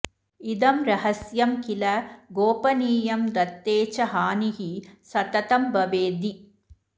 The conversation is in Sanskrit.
इदं रहस्यं किल गोपनीयं दत्ते च हानिः सततं भवेद्धि